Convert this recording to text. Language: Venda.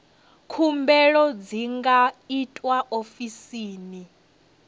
khumbelo dzi nga itwa ofisini